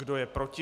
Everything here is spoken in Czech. Kdo je proti?